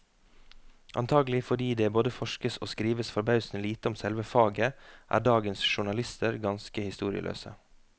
Antagelig fordi det både forskes og skrives forbausende lite om selve faget, er dagens journalister ganske historieløse.